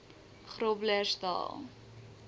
groblersdal